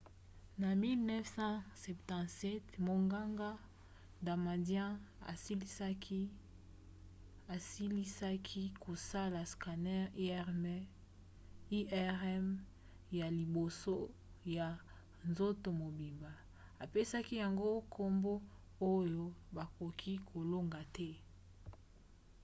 na 1977 monganga damadian asilisaki kosala scanner irm ya liboso ya nzoto mobimba, apesaki yango nkombo oyo bakoki kolonga te.